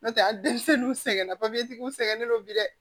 N'o tɛ a denmisɛnninw sɛgɛnna u sɛgɛnnen don bi dɛ